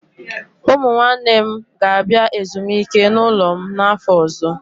Ụmụ nwanne m ga-abịa ezumike n'ụlọ m n'afọ ọzọ.